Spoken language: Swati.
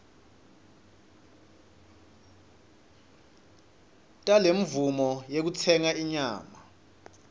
talemvumo yekutsenga inyama